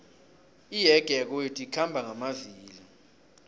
iyege yakwethu ikhamba ngamavilo